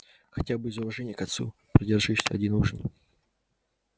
хотя бы из уважения к отцу продержись один ужин